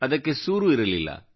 ಅದಕ್ಕೆ ಸೂರು ಇರಲಿಲ್ಲ